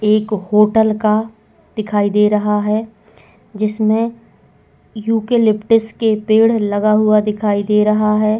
एक होटल का दिखाई दे रहा है जिसमे युके लीप्ट्स के पेड़ लगा हुआ दिखाई दे रहा है।